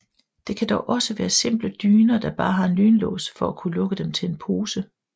Det kan dog også være simple dyner der bare har en lynlås for at kunne lukke dem til en pose